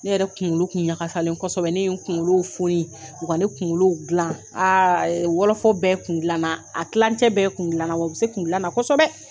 Ne yɛrɛ kungolo tun ɲagasalen kosɛbɛ , ne ye n kungolo foni, wa ne kungolo dila aaa! ayi! Wɔlɔfɔ bɛɛ kun dilana, a kilacɛ bɛɛ ye kun dilana ye , wa u bɛ se kun dilanna kosɛbɛ.